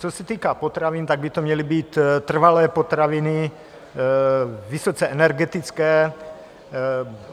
Co se týká potravin, tak by to měly být trvanlivé potraviny, vysoce energetické.